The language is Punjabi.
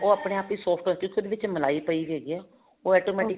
ਉਹ ਆਪਣੇ ਆਪ ਹੀ soft ਹੈ ਉਹਦੇ ਵਿੱਚ ਮਲਾਈ ਪਈ ਹੈਗੀ ਹੈ ਉਹ automatically